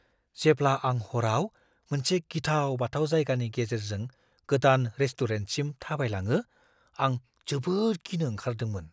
जेब्ला आं हराव मोनसे गिथाव-बाथाव जायगानि गेजेरजों गोदान रेस्टुरेन्टसिम थाबायलाङो, आं जोबोद गिनो ओंखारदोंमोन।